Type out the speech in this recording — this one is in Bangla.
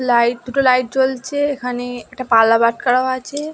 লাইট দুটো লাইট জ্বলছে এখানে একটা পাল্লা বাট্খারাও আছে।